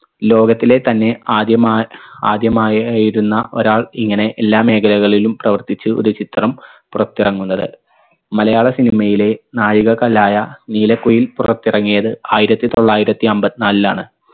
ലോകത്തിലെ തന്നെ ആദ്യ മാ ആദ്യമായ ഇരുന്ന ഒരാൾ ഇങ്ങനെ എല്ലാ മേഖലകളിലും പ്രവർത്തിച്ചു ഒരു ചിത്രം പുറത്തിറങ്ങുന്നത് മലയാള cinema യിലെ നാഴികക്കല്ലായ നീലക്കുയിൽ പുറത്തിറങ്ങിയത് ആയിരത്തി തൊള്ളായിരത്തി അമ്പത്തിനാലിലാണ്